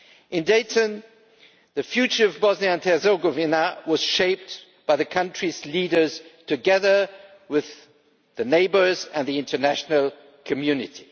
In Dayton the future of Bosnia and Herzegovina was shaped by the country's leaders, together with the neighbours and the international community.